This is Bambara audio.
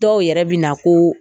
Dɔw yɛrɛ bi na ko